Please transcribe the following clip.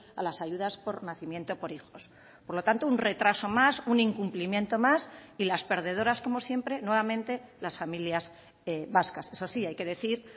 a las ayudas por nacimiento por hijos por lo tanto un retraso más un incumplimiento más y las perdedoras como siempre nuevamente las familias vascas eso sí hay que decir